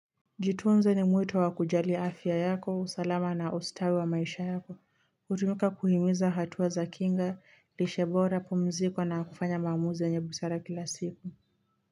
Jitunze ni mwito wa kujali afya yako, usalama na ustawi wa maisha yako. Utumika kuhimiza hatua za kinga, lishe bora, pumziko na kufanya maamuzi enye busara kila siku.